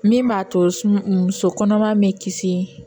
Min b'a to muso kɔnɔma bɛ kisi